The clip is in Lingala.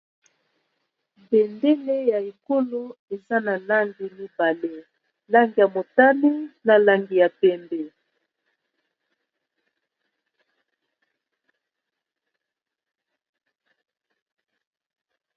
Bendele ya ekolo eza na langi mibale langi ya motani na langi ya pembe.